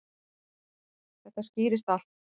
Þetta skýrist allt.